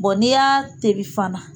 n'i y'a tobi fana